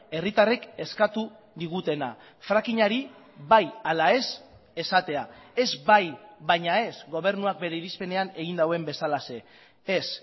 herritarrek eskatu digutena frakingari bai ala ez esatea ez bai baina ez gobernuak bere irizpenean egin duen bezalaxe ez